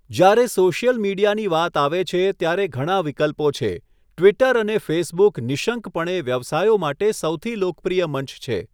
જ્યારે સોશિયલ મીડિયાની વાત આવે છે, ત્યારે ઘણા વિકલ્પો છે, ટ્વિટર અને ફેસબુક નિઃશંકપણે વ્યવસાયો માટે સૌથી લોકપ્રિય મંચ છે.